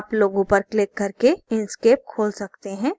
आप logo पर click करके inkscape खोल सकते हैं